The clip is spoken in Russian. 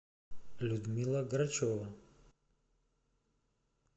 людмила грачева